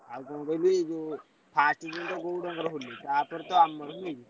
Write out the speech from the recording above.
ଆଉ କଣ କହିଲୁ first ଦିନ ତ ଗଉଡ ଙ୍କ ଖାଲି ତା ପରତ ଆମର ବୁଝିଲୁ।